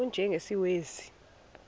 u y njengesiwezi